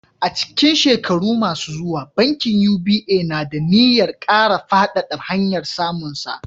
A cikin shekaru masu zuwa, bankin UBA na da niyyar kara faɗaɗa hanyar samunsa.